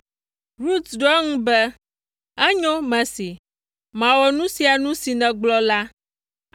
Rut ɖo eŋu be, “Enyo, mesee; mawɔ nu sia nu si nègblɔ la.”